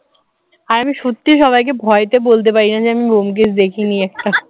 আর আমি সত্যিই সবাইকে ভয়ে বলতে পারি না যে আমি ব্যোমকেশ দেখিনি একটা